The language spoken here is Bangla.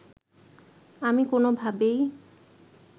আমি কোনোভাবেই